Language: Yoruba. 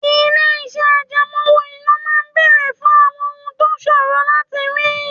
Ilé-iṣẹ́ àjẹmọ́ owó-ìná máa ń béèrè fún àwọn ohun tó ṣòro láti rí